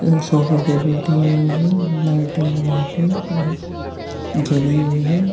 सोफे पे बैठे हुए है लाइटिंग यहाँ पे जली हुई है।